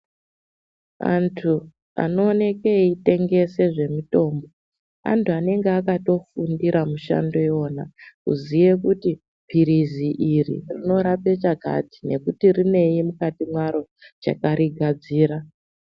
Antu ano oneke eitengese zvemitombo, antu anenge akato fundire mushando iwona. Kuziye kuti pirizii iri rino rape chakati, nekuti rinei mukati mwaro chakari gadzira.